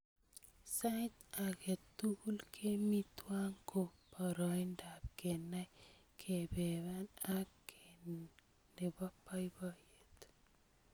Sait ake tukul kemi twai ko poroindap kenai kepeper ake ne po poipoiyet